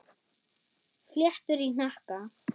Fléttur í hnakka.